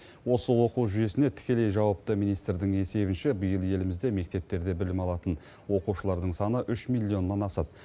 осы оқу жүйесіне тікелей жауапты министрдің есебінше биыл елімізде мектептерде білім алатын оқушылардың саны үш миллионнан асады